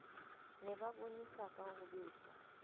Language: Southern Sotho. ne ba bonesaka ho besa